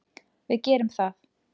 Við gerum það.